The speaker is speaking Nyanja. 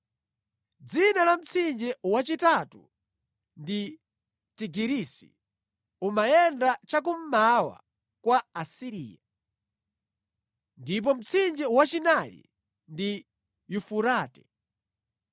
Dzina la mtsinje wachitatu ndi Tigirisi; umayenda chakummawa kwa Asiriya. Ndipo mtsinje wachinayi ndi Yufurate.